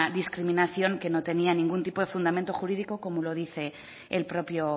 discriminación que no tenía ningún tipo de fundamento jurídico como lo dice el propio